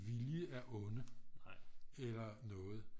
Vilje er onde eller noget